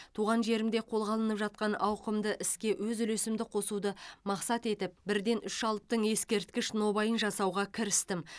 туған жерімде қолға алынып жатқан ауқымды іске өз үлесімді қосуды мақсат етіп бірден үш алыптың ескерткіш нобайын жасауға кірістім